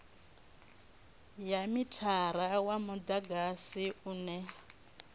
ya mithara wa mudagasi une